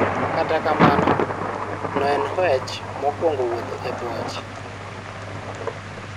Kata kamano, noen hwech mokwongo wutho e boche.